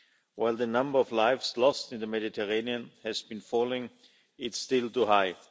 While the number of lives lost in the Mediterranean has been falling, it's still too high.